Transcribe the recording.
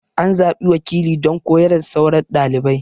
An zaɓi wakili don koyar da sauran ɗalibai.